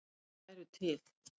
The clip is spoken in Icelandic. Þær væru til.